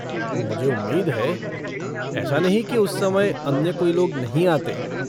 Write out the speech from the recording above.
मुझे उम्मीद है। ऐसा नहीं है कि उस समय अन्य कोई लोग नहीं आते।